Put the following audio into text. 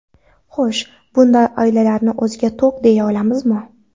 Xo‘sh, bunday oilalarni o‘ziga to‘q, deya olamizmi?